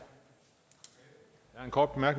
går